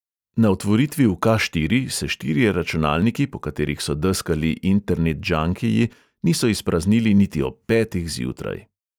Na otvoritvi v ka|štiri| se štirje računalniki, po katerih so deskali internetdžankiji, niso izpraznili niti ob petih zjutraj.